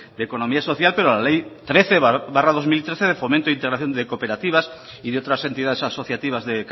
de economía social pero la ley trece barra dos mil trece de fomento integración de cooperativas y de otras entidades asociativas de